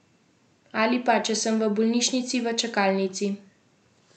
Ali pa, če sem v bolnišnici v čakalnici.